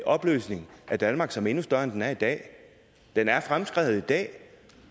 opløsning af danmark som er endnu større end den er i dag den er fremskreden i dag